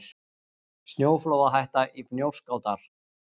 Snjóflóðahætta í Fnjóskadal